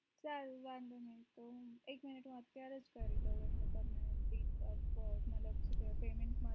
ચાલ વાધો નહિ તો હું એક minit હું અત્યારે જ કરી દઉં